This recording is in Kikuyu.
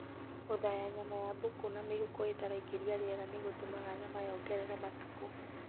Gũthaya nyama ya mbũkũ na mĩhuko ĩtaraingĩria rĩera nĩ gũtũmaga nyama yongerere matukũ